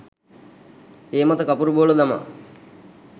ඒ මත කපුරු බෝල දමා